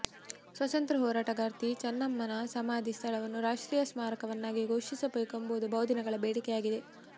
ಸ್ವಾತಂತ್ರ್ಯ ಹೋರಾಟಗಾರ್ತಿ ಚನ್ನಮ್ಮನ ಸಮಾಧಿ ಸ್ಥಳವನ್ನು ರಾಷ್ಟ್ರೀಯ ಸ್ಮಾರಕವನ್ನಾಗಿ ಘೋಷಿಸಬೇಕು ಎಂಬುದು ಬಹುದಿನಗಳ ಬೇಡಿಕೆಯಾಗಿದೆ